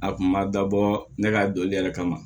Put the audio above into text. A kun ma dabɔ ne ka dɔnli yɛrɛ kama